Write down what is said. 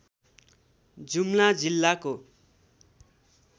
जुम्ला जिल्लाको